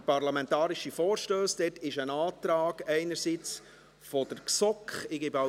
Der parlamentarische Vorstoss FM 090-2017 (Striffeler, SP) ist nicht abzuschreiben.